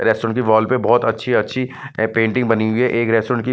restaurant की wall पे बहुत अच्छी-अच्छी ए पेंटिंग बनी हुई है एक रेस्टोरेंट की---